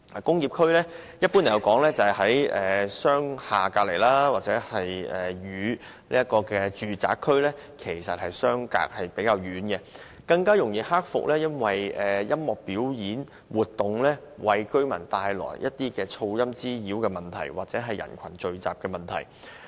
工業區一般在商廈旁邊，與住宅區相隔較遠，更容易克服因為音樂表演為居民帶來的聲浪滋擾或人群聚集的問題。